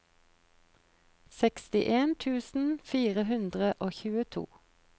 sekstien tusen fire hundre og tjueto